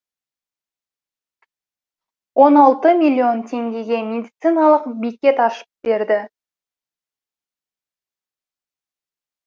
он алты миллион теңгеге медициналық бекет ашып берді